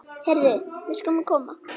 Heyrðu, við skulum koma.